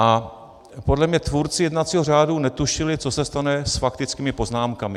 A podle mě tvůrci jednacího řádu netušili, co se stane s faktickými poznámkami.